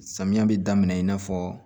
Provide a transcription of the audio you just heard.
Samiya bɛ daminɛ i n'a fɔ